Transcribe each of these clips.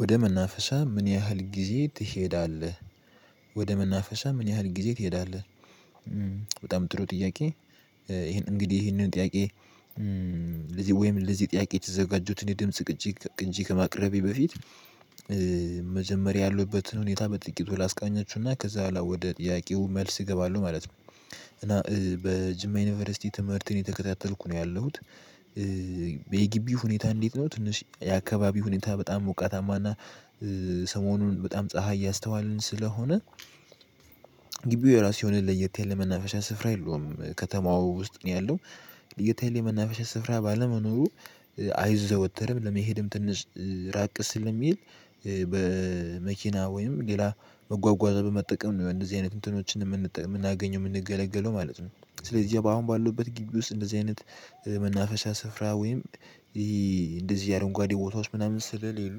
ወደ መናፈሻ ምን ያህል ጊዜ ትሄዳለህ? ወደ መናፈሻ ምን ያህል ጊዜ ትሄዳለህ በጣም ጥሩ ጥያቄ ይሄን እንግዲህ ይሄንን ጥያቄ ለዚህ ወይም ለዚህ ጥያቄ የተዘጋጀሁትን የድምጽ ቅጅ ቅንጅ ከማቅረቤ በፊት መጀመሪያ ያሉበትን ሁኔታ በጥቂቱ ላስቃኛችሁና ከዛ በኋላ ወደ ጥያቄው መልስ እገባለሁ ማለት ነው እና በጅማ ዩኒቨርሲቲ ትምህርትን የተከታተልኩ ነው ያለሁት የጊቢ ሁኔታ እንዴት ነው ትንሽ የአካባቢ ሁኔታ በጣም ሞቃታማና ሰሞኑን በጣም ፀሀይ እያስተዋልን ስለሆነ ግቢው የራሱ የሆነ ለየት ያለ መናፈሻ ስፍራ የለውም ከተማው ውስጥ ነው ያለው የተለየ መናፍሻ ስፍራ ባለመኖሩ አይዘወተርም ለመሄድም ትንሽ ራቅ ስለሚል በመኪና ወይም ሌላ መጓጓዝ በመጠቀም ነው እንደዚህ አይነት እንትኖችን የምናገኘው የምንገለገለው ማለት ነው ስለዚህ አሁን ባለውበት ግቢ ውስጥ እንደዚህ አይነት መናፈሻ ስፍራ ወይም እንደዚህ አረንጓዴ ቦታዎች ምናምን ስለሌሉ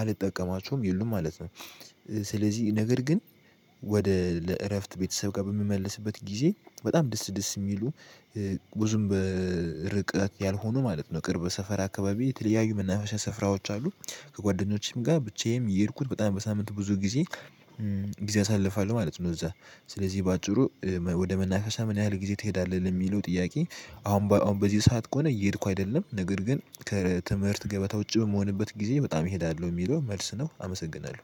አልጠቀማቸውም የሉም ማለት ነው። ስለዚህ ነገር ግን ወደ ለእረፍት ቤተሰብ ጋር በምመልስበት ጊዜ በጣም ደስ ደስ የሚሉ ብዙም በርቀት ያልሆኑ ማለት ነው ቅርብ ሰፈር አካባቢ የተለያዩ መናፍሻ ስፍራዎች አሉ ከጓደኞቼም ጋር ብቻዬም እየሄድኩት በጣም በሳምንት ብዙ ጊዜ ጊዜ አሳልፋለሁ ማለት ነው እዛ ስለዚህ በአጭሩ ወደ መናፈሻ ምን ያህል ጊዜ ትሄዳለህ ለሚለው ጥያቄ አሁን በአሁን በዚህ ሰዓት ከሆነ እየሄድኩ አይደለም ነገር ግን ከትምህርት ገበታ ውጪ በምሆንበት ጊዜ በጣም እሄዳለሁ የሚለው መልስ ነው አመሰግናለሁ።